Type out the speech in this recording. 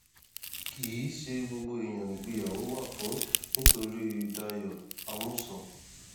kì í ṣe gbogbo èèyàn nìgbéyàwó wà fún nítorí dayo àmuṣe